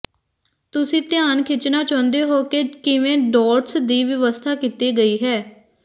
ਤੁਸੀਂ ਧਿਆਨ ਖਿੱਚਣਾ ਚਾਹੁੰਦੇ ਹੋ ਕਿ ਕਿਵੇਂ ਡੌਟਸ ਦੀ ਵਿਵਸਥਾ ਕੀਤੀ ਗਈ ਹੈ